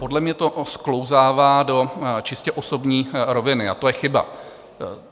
Podle mě to sklouzává do čistě osobní roviny a to je chyba.